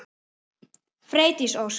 Freydís Ósk.